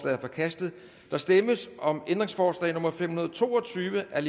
er forkastet der stemmes om ændringsforslag nummer fem hundrede og to og tyve af